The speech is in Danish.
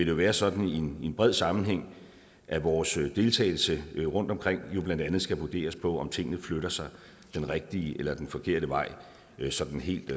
jo være sådan i en bred sammenhæng at vores deltagelse rundtomkring jo blandt andet skal vurderes på om tingene flytter sig den rigtige eller den forkerte vej sådan helt